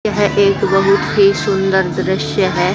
यह एक बहुत ही सुंदर दृश्य है।